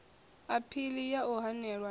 aphili ya u hanelwa ha